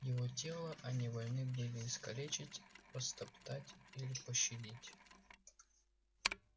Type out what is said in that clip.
его тело они вольны были искалечить растоптать или пощадить